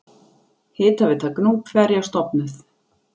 Hitaveita Gnúpverja stofnuð.